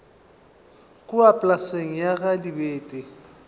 kua polaseng ya ga dibete